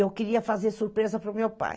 Eu queria fazer surpresa para o meu pai.